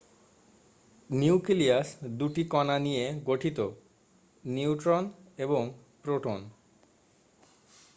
nucleus দুটি কণা নিয়ে গঠিত নিউট্রন এবং প্রোটন